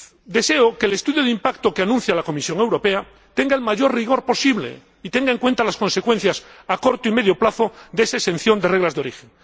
Deseo que el estudio de impacto que anuncia la Comisión Europea tenga el mayor rigor posible y tenga en cuenta las consecuencias, a corto y medio plazo, de esa exención de las normas de origen.